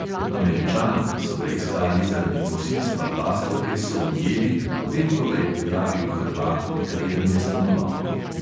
Američana, ki so ga iskali zaradi posilstva pastorke, so ujeli, potem ko ga je prijavil hrvat, pri katerem je stanoval.